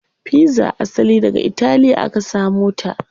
Pizza asali daga italiya aka samo ta.